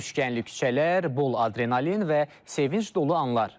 Sürüşkənli küçələr, bol adrenalin və sevinc dolu anlar.